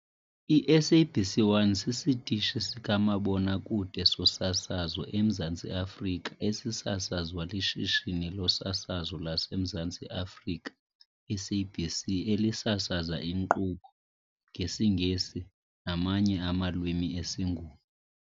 I-SABC 1 sisitishi sikamabona-kude sosasazo eMzantsi Afrika esisasazwa liShishini loSasazo laseMzantsi Afrika, SABC, elisasaza inkqubo ngesiNgesi namanye amalwimi esiNguni.